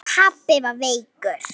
Pabbi var veikur.